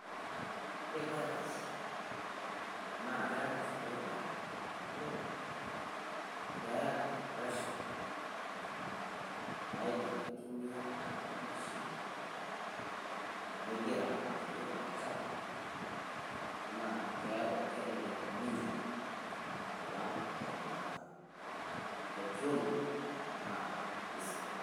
woore biogas naa ketaa faida amu ketaa pressure naidim aitumiaa enaa duoo mashini nigira aturiee olchamba neaku kelelek ninye alang petroli oodiesel